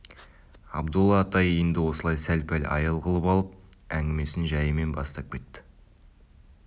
абдолла атай енді осылай сәл-пәл аял қылып алып әңгімесін жайымен бастап кетті